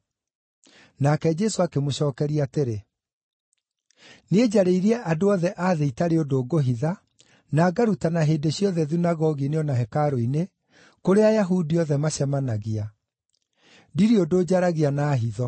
Nake Jesũ akĩmũcookeria atĩrĩ, “Niĩ njarĩirie andũ othe a thĩ itarĩ ũndũ ngũhitha, na ngarutana hĩndĩ ciothe thunagogi-inĩ o na hekarũ-inĩ, kũrĩa Ayahudi othe macemanagia. Ndirĩ ũndũ njaragia na hitho.